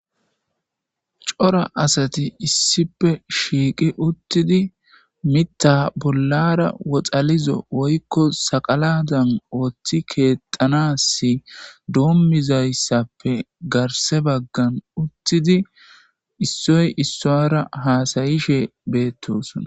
Cora asathi issippe shiiqi uththidi miththaa bollaara woxalizo woykko saqalaadan ooththi keexxanaassi doommizayssappe garsse baggan uththidi issoy issuwaara haasayishe beeththoosona.